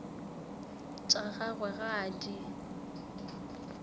tša gagwe ga a di